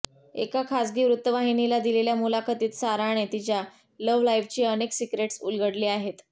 एका खासगी वृत्तवाहिनीला दिलेल्या मुलाखतीत साराने तिच्या लव्ह लाईफची अनेक सिक्रेट्स उलगडली आहेत